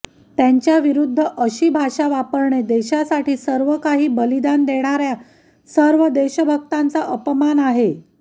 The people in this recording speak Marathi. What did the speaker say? त्यांच्याविरूद्ध अशी भाषा वापरणे देशासाठी सर्व काही बलिदान देणाऱ्या सर्व देशभक्तांचा अपमान आहे